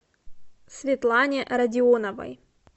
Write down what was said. светлане радионовой